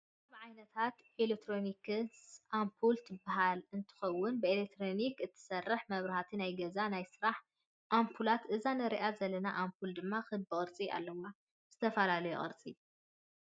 ካብ ዓይነታት ኤሌክትሮኒክስ ኣፑል ትበሃል እትከውን ብኤሌክትሪክ እትሰርሕ መብናህቲ ናይ ገዛን ናይ ስራሕን ኣፑላት እዛ ንሪኣ ዘለና ኣፑል ድማ ክቢ ቅርፂ ኣለዋ። ዝተፈላለዩ ቅርፂ ።